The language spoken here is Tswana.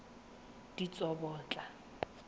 ditsobotla